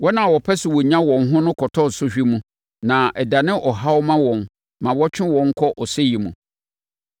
Wɔn a wɔpɛ sɛ wɔnya wɔn ho no kɔtɔ sɔhwɛ mu na ɛdane ɔhaw ma wɔn ma ɛtwe wɔn kɔ ɔsɛeɛ mu.